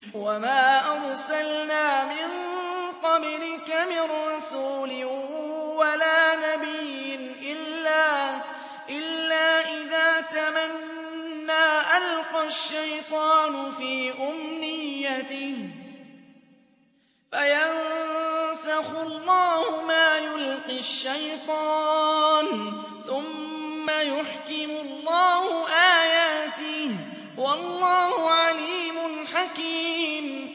وَمَا أَرْسَلْنَا مِن قَبْلِكَ مِن رَّسُولٍ وَلَا نَبِيٍّ إِلَّا إِذَا تَمَنَّىٰ أَلْقَى الشَّيْطَانُ فِي أُمْنِيَّتِهِ فَيَنسَخُ اللَّهُ مَا يُلْقِي الشَّيْطَانُ ثُمَّ يُحْكِمُ اللَّهُ آيَاتِهِ ۗ وَاللَّهُ عَلِيمٌ حَكِيمٌ